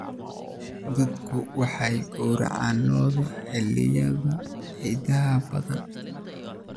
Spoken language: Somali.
Dadku waxay gowracaan lo'da xilliyada ciidaha badan.